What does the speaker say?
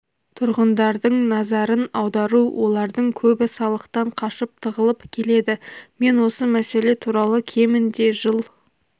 тұрғындардың назарын аудару олардың көбі салықтан қашып тығылып келеді мен осы мәселе туралы кемінде жыл